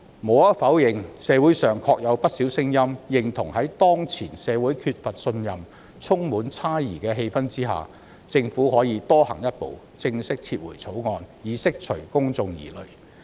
無可否認，社會上確有不少聲音，認同在當前社會缺乏信任及充滿猜疑的氣氛下，政府可以多走一步，正式撤回《條例草案》，以釋除公眾疑慮。